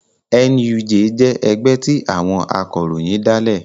NUJ jẹ́ ẹgbẹ́ tí àwọn akọ̀ròyìn dálẹ̀